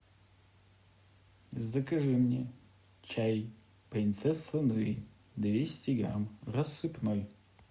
закажи мне чай принцесса нури двести грамм рассыпной